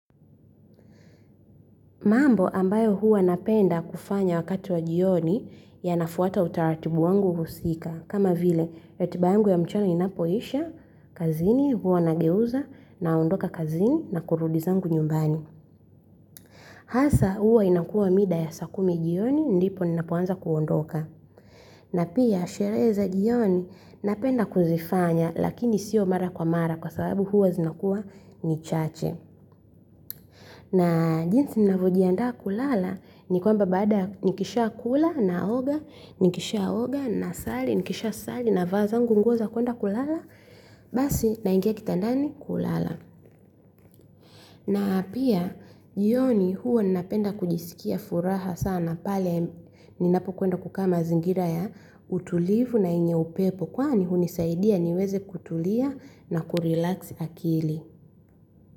Mambo ambayo huwa napenda kufanya wakati wa jioni yanafuata utaratibu wangu husika. Kama vile, ratiba yangu ya mchana inapoisha, kazini huwa nageuza, naondoka kazini, na kurudi zangu nyumbani. Hasa huwa inakuwa mida ya saa kumi jioni, ndipo ninapoanza kuondoka. Na pia, sherehe za jioni, napenda kuzifanya, lakini sio mara kwa mara kwa sababu huwa zinakuwa ni chache. Na jinsi ninavyojiandaa kulala ni kwamba baada nikisha kula naoga, nikisha oga nasali, nikisha sali navaa zangu nguo za kuenda kulala basi naingia kitandani kulala. Na pia jioni huwa ninapenda kujisikia furaha sana pale ninapokwenda kukaa mazingira ya utulivu na yenye upepo kwani hunisaidia niweze kutulia na kurelax akili.